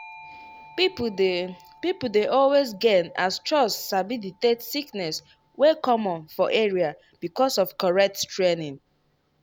people dey people dey always gain as chws sabi detect sickness wey common for area because of correct training.